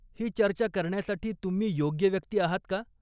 ही चर्चा करण्यासाठी तुम्ही योग्य व्यक्ती आहात का?